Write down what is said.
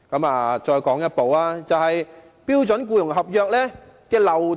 另一個問題是標準僱傭合約的漏洞。